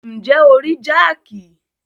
Ǹjẹ́ o rí jáàkì?